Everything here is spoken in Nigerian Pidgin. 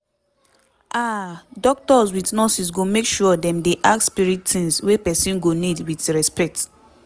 aah doctors with nurses go make sure dem dey ask spirit tings wey pesin go need with respect